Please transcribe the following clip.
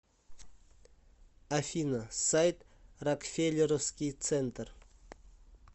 афина сайт рокфеллеровский центр